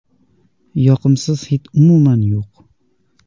Yoqimsiz hid umuman yo‘q.